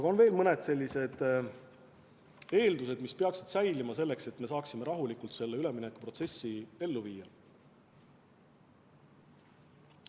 Ja on veel mõned eeldused, mis peaksid säilima, et me saaksime rahulikult üleminekuprotsessi ellu viia.